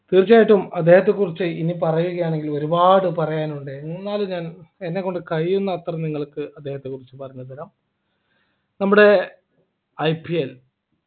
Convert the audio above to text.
തീർച്ചയായിട്ടും അദ്ദേഹത്തെക്കുറിച്ച് ഇനി പറയുകയാണെങ്കിൽ ഒരുപാട് പറയാനുണ്ട് എന്നാലും ഞാൻ എന്നെക്കൊണ്ട് കഴിയുന്നത്ര നിങ്ങൾക്ക് അദ്ദേഹത്തെക്കുറിച്ച് പറഞ്ഞുതരാം നമ്മുടെ IPL